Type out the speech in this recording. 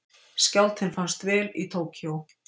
Skjálftinn fannst vel í Tókýó